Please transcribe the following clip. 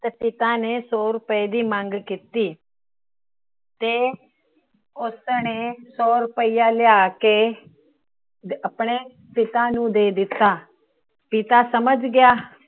ਤਾਂ ਪਿਤਾ ਨੇ ਸੋ ਰੁਪਏ ਦੀ ਮੰਗ ਕੀਤੀ। ਤੇ ਉਸਨੇ ਸੋ ਰੁਪਇਆ ਲਿਆ ਕਿ ਆਪਣੇ ਪਿਤਾ ਨੂੰ ਦੇ ਦਿੱਤਾ। ਪਿੱਤ ਸਮਝ ਗਿਆ